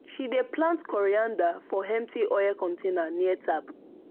she dey plant coriander for empty oil container near tap